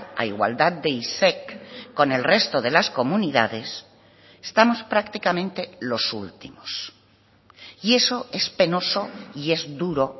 a igualdad de isec con el resto de las comunidades estamos prácticamente los últimos y eso es penoso y es duro